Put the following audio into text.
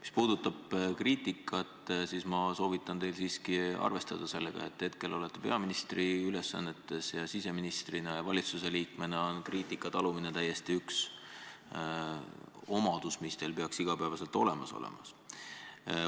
Mis puudutab kriitikat, siis minagi soovitan teil siiski arvestada sellega, et hetkel te olete peaministri ülesannetes, aga ka siseministril ja valitsuse liikmel on kriitika talumine üks omadus, mis peaks igapäevaselt olemas olema.